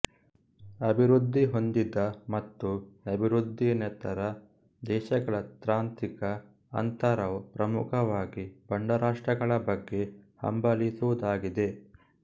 ಅಭಿವೃದ್ಧಿಹೊಂದಿದ ಮತ್ತು ಅಭಿವೃದ್ದಿಯೇತರ ದೇಶಗಳ ತಾಂತ್ರಿಕ ಅಂತರವು ಪ್ರಮುಖವಾಗಿ ಬಡರಾಷ್ಟ್ರಗಳ ಬಗ್ಗೆ ಹಂಬಲಿಸುವುದಾಗಿದೆ